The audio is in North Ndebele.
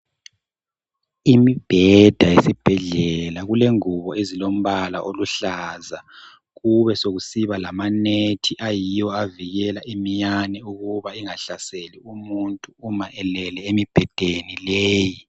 Imibheda yesibhedlela kulengubo ezilombala oluhlaza kube sokusiba lamanethi ayiwo avikela iminyane ukuba ingahlaselwa umuntu uma elele emibhedeni leyi.